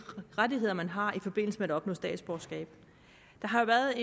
rettigheder man har i forbindelse med at opnå statsborgerskab der har været